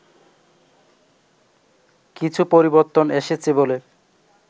কিছু পরিবর্তন এসেছে বলে